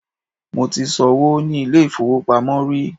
mo ti so'wo ni ilé ifowopamọ ri